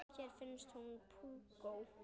Þér finnst hún púkó.